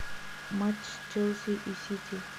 матч челси и сити